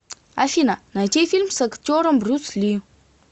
афина найти фильм с актером брюс ли